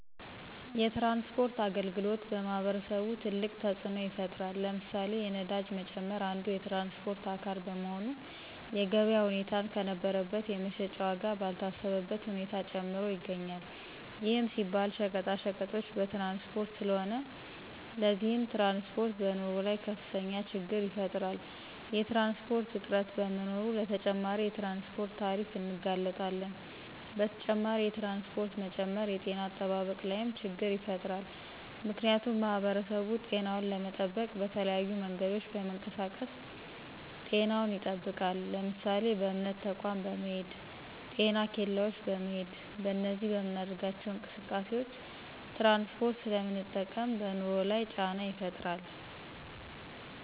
የትራንስፖርት አገልግሎት በማህበረሰቡ ትልቅ ተፅኖ ይፍጥራል። ለምሳሌ፦ የነዳጅ መጨመር አንዱ የትራንስፖርት አካል በመሆኑ የገበያ ሁኔታን ከነበረበት የመሸጫ ዎጋ ባልታሰበበት ሁኔታ ጨምሮ ይገኞል ይህም ሲባል ሸቀጣቀጦች በትራንስፖርት ስለሆነ። ለዚህም ትራንስፖርት በኑሮ ላይ ከፍተኞ ችግር ይፈጥራል። የትራንስፖርት እጥረት በመኖሮ ለተጨማሪ የትራንስፖርት ታሪፍ እንጋለጣለን። በተጨማሪ የትራንስፖርት መጨመር የጤነ አጠባበቅ ላይም ችገር ይፈጥራል ምክንያቱሙ ማህበረሰቡ ጤናውን ለመጠበቅ በተለያዩ መንገዶች በመንቀሳቀስ ጤናውን ይጠብቃል ለምሳሌ:- በእምነት ተቆም በመሄድ: ጤና ኬላዎች በመሄድ በእነዚህ በምናደርጋቸው እንቅስቃሴዎች ትራንስፖርት ስለምንጠቀም በኑሮ ላይ ጫና ይፈጥራል